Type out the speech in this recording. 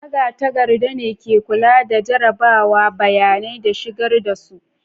Magatakarda ne ke kula da jarrabawa, bayanai, da shigar da su.